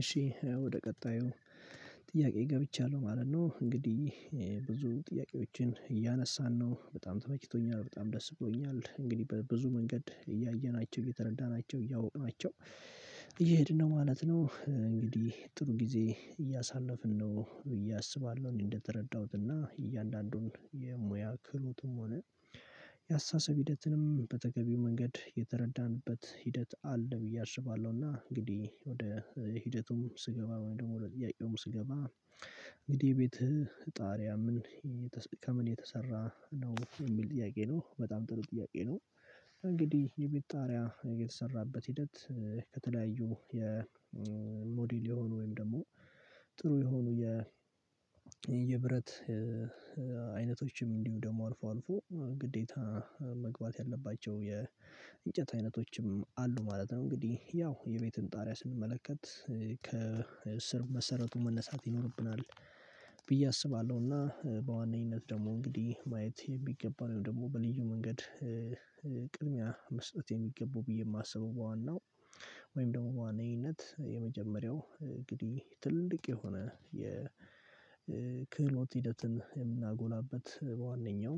እሺ ወደ ቀጣዩ ጥያቄ ገብቻለሁ ማለት ነው እንግዲህ ብዙ ጥያቄዎችን እያነሳን ነው በጣም ተመችቶኛል በጣም ደስ ብሎኛል እንግዲህ በብዙ መንገድ እያየናቸው እየተረዳናቸው እያወቅናቸው እየሄድን ነው ማለት ነው እንግዲህ ጥሩ ጊዜ እያሳለፍን ነው ብዬ አስባለሁ እኔ እንደተረዳሁት እና እያንዳንዱን የሙያ ክህሎትም ሆነ ያስተሳሰብ ሂደትንም በተገቢው መንገድ የተረዳንበት ሂደት አለ ብዬ አስባለሁና እንግዲህ ወደ ሂደቱም ስገባ ወይም ደግሞ ወደ ጥያቄውም ስገባ እንግዲህ የቤትህ ጣሪያ ምን ከምን የተሰራ ነው የሚል ጥያቄ ነው በጣም ጥሩ ጥያቄ ነው እንግዲህ የቤት ጣሪያ የተሰራበት ሂደት ከተለያዩ ሞዴል የሆኑ ወይም ደግሞ ጥሩ የሆኑ የብረት አይነቶች ነው። እንዲሁም ደግሞ አልፎ አልፎ ግዴታ መግባት ያለባቸው የእንጨት አይነቶችም አሉ ማለት ነው እንግዲህ ያው የቤትን ጣሪያ ስንመለከት መሰረቱን መነሳት ይኖርብናል ብዬ አስባለሁና በዋነኝነት ደግሞ እንግዲህ ማየት የሚገባው ወይም ደግሞ በልዩ መንገድ ቅድሚያ መስጠት የሚገባው ብዬ የማስበው ዋናው ወይም ደግሞ በዋነኝነት የመጀመሪያው እንግዲህ ትልቅ የሆነ የክህሎት ሂደትን የምናጎላበት በዋነኛው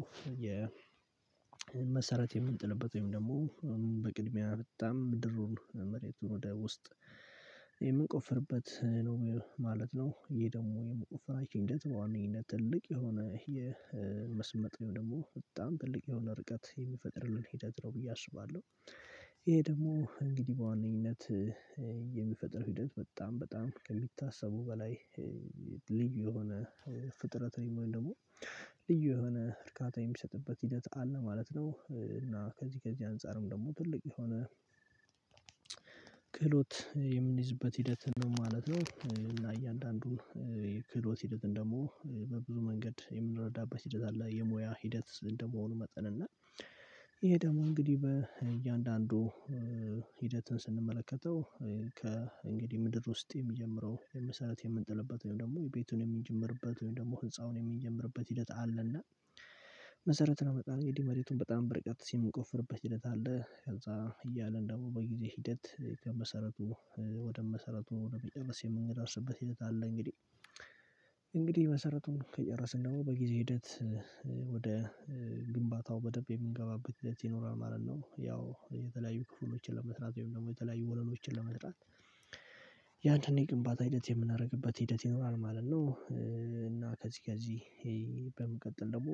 መሰረት የምንጥልበት ወይም ደግሞ በቅድሚያ በጣም ድሩን መሬቱን ወደ ውስጥ የምንቆፍርበት ነው ማለት ነው ይሄ ደግሞ የመቆፈራችን ሂደት በዋነኝነት ትልቅ የሆነ የመስመጥ ወይም ደግሞ በጣም ትልቅ የሆነ ርቀት የሚፈጥርልን ሂደት ነው ብዬ አስባለሁ ይሄ ደግሞ እንግዲህ በዋነኝነት የሚፈጥር ሂደት በጣም በጣም ከሚታሰበው በላይ ልዩ የሆነ ፍጥረት ወይም ደግሞ ልዩ የሆነ እርካታ የሚሰጥበት ሂደት አለ ማለት ነው እና ከዚህ ከዚህ አንፃርም ደግሞ ትልቅ የሆነ ክህሎት የምንይዝበት ሂደት ነው ማለት ነው እና እያንዳንዱን የክህሎት ሂደትን ደግሞ በብዙ መንገድ የምንረዳበት ሂደት አለ የሙያ ሂደት እንደመሆኑ መጠን እና ይሄ ደግሞ እንግዲህ በእያንዳንዱ ሂደትን ስንመለከተው ከእንግዲህ ምድር ውስጥ የሚጀምረው መሰረት የምንጥልበት ወይም ደግሞ የቤቱን የምንጀምርበት ወይም ደግሞ ህንፃውን የምንጀምርበት ሂደት አለና መሰረት ነው ለመጣል እንግዲህ መሬቱን በጣም በርቀት የምንቆፍርበት ሂደት አለ ከዛ እያልን ደግሞ በጊዜ ሂደት ከመሰረቱ ወደ መሰረቱን ወደ መጨረስ የምንደርስበት ሂደት አለ እንግዲህ እንግዲህ መሰረቱን ከጨረስን ደግሞ በጊዜ ሂደት ግንባታው በደንብ የምንገባበት ሂደት ይኖረናል ማለት ነው ያው የተለያዩ ክፍሎችን ለመስራት ወይም ደግሞ የተለያዩ ወለሎችን ለመስራት ያንተን የግንባታ ሂደት የምናደርግበት ሂደት ይኖራል ማለት ነው ከዚህ ከዚህ በመቀጠል ደግሞ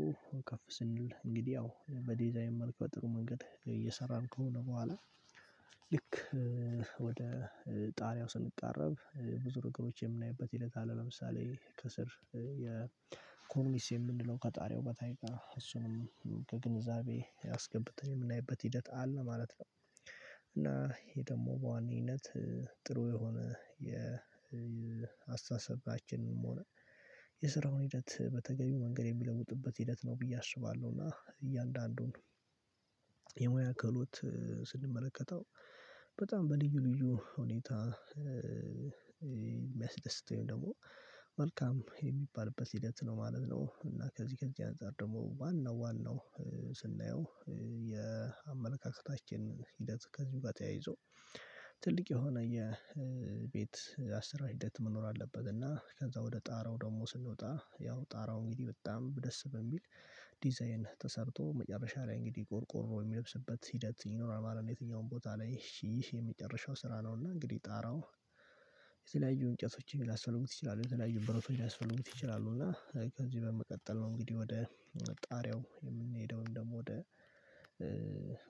ከፍ ስንል እንግዲህ ያው በዲዛይን መልኩ በጥሩ መንገድ እየሰራን ከሆነ በኋላ ልክ ወደ ጣሪያው ስንቃረብ ብዙ ነገሮች የምናይበት ሂደት አለ ለምሳሌ ከስር ኮርኒስ የምንለው ከጣሪያው በታይ ጋር እሱንም ከግንዛቤ አስገብተን የምናይበት ሂደት አለ ማለት ነው እና ይሄ ደግሞ በዋናነኝነት ጥሩ የሆነ የአስተሳሰባችንም ሆነ የስራውን ሂደት በተገቢው መንገድ የሚለውጡበት ሂደት ነው ብዬ አስባለሁ እና እያንዳንዱን የሙያ ክህሎት ስንመለከተው በጣም በልዩ ልዩ ሁኔታ የሚያስደስተኝ ደግሞ መልካም የሚባልበት ሂደት ነው ማለት ነው እና ከዚህ ከዚህ አንፃር ደግሞ ዋናው ዋናው ስናየው የአመለካከታችን ሂደት ከዚህ ጋር ተያይዞ ትልቅ የሆነ የቤት አሰራር ሂደት መኖር አለበት እና ከዛ ወደ ጣራው ደግሞ ስንወጣ ያው ጣራው እንግዲህ በጣም ደስ በሚል ዲዛይን ተሰርቶ መጨረሻ ላይ እንግዲህ ቆርቆሮ የሚለብስበት ሂደት ይኖራል ማለት ነው የትኛውም ቦታ ላይ ይህ ይህ የመጨረሻው ስራ ነው እና እንግዲህ ጣራው የተለያዩ እንጨቶችን ሊያስፈልጉት ይችላሉ የተለያዩ ብረቶች ሊያስፈልጉት ይችላሉ እና ከዚህ በመቀጠል ነው እንግዲህ ወደ ጣሪያው የምንሄደው ወይም ደግሞ ወደ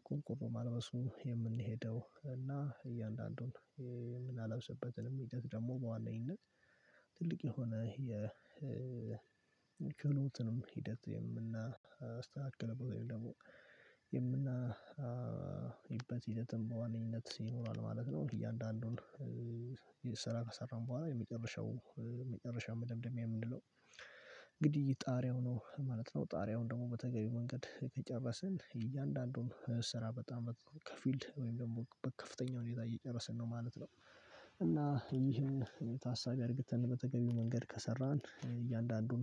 ቆርቆሮ ማልበሱ የምንሄደው እና እያንዳንዱን የምናለብስበትንም ሂደት ደግሞ በዋነኝነት ትልቅ የሆነ ውጭ የሆኑትንም ሂደት የምናስተካክለው ወይም ደግሞ የምናይበት ሂደትም በዋነኝነት ይኖራል ማለት ነው እያንዳንዱን ስራ ከሰራን በኋላ የመጨረሻው የመጨረሻው መደምደሚያ የምንለው እንግዲህ ጣሪያው ነው ማለት ነው ጣሪያውን ደግሞ በተገቢው መንገድ ከጨረስን የእያንዳንዱን ስራ በጣም ከፊል ወይም ደግሞ በከፍተኛው ሁኔታ እየጨረስን ነው ማለት ነው። እና ይሄን ታሳቢ አድርግተን በተገቢው መንገድ ከሰራን እያንዳንዱን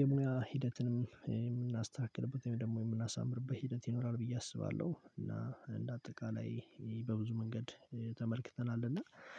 የሙያ ሂደትንም የምናስተካክልበት ወይም ደግሞ የምናሳምርበት ሂደት ይኖራል ብዬ አስባለሁ እና እንደ አጠቃላይ በብዙ መንገድ ተመልክተናል እና